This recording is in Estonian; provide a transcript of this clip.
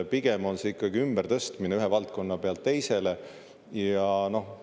Pigem on see ikkagi ümbertõstmine ühe valdkonna pealt teisele.